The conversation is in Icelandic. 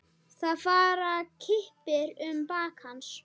Það fara kippir um bak hans.